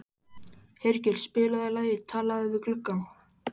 Hergeir, spilaðu lagið „Talað við gluggann“.